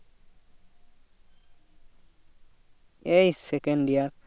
এই second year